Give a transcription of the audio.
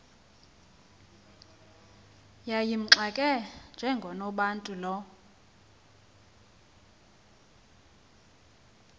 yayimxake njengonobantu lo